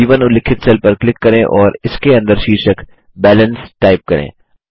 ब1 उल्लिखित सेल पर क्लिक करें और इसके अंदर शीर्षक बैलेंस टाइप करें